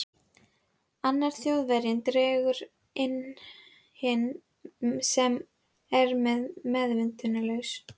Annar Þjóðverjinn dregur inn hinn sem er enn meðvitundarlaus.